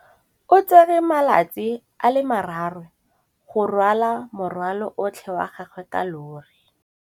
O tsere malatsi a le marraro go rwala morwalo otlhe wa gagwe ka llori.